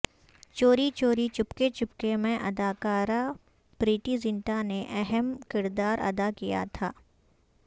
چوری چوری چپکے چپکے میں اداکارہ پریٹی زنٹا نے اہم کردار ادا کیا تھا